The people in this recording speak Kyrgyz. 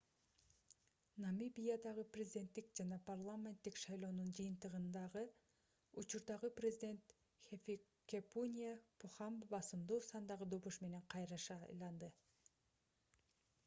намибиядагы президенттик жана парламенттик шайлоонун жыйынтыгында учурдагы президент хификепунье похамба басымдуу сандагы добуш менен кайра шайланды